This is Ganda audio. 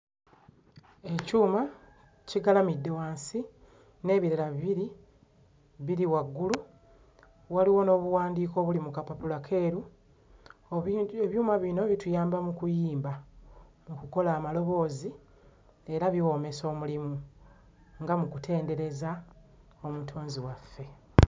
Ekyuma kigalamidde wansi n'ebirala bibiri biri waggulu, waliwo n'obuwandiiko obuli mu kapapula keeru... ebyuma bino bituyamba mu kuyimba, mu kukola amaloboozi era biwoomesa omulimu nga mu kutendereza Omutonzi waffe.